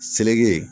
Seleke ye